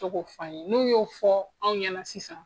Bito k'o fɔ an ɲɛna n'u y'o fƆ anw ɲɛna sisan.